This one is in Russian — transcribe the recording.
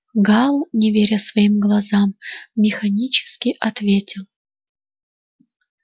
гаал не веря своим глазам механически ответил